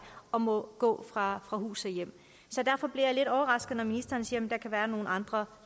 og må gå fra hus og hjem så derfor bliver jeg lidt overrasket når ministeren siger at der kan være nogle andre